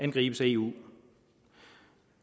angribes af eu